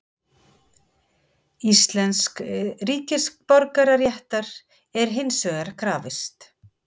Íslensks ríkisborgararéttar er hins vegar krafist.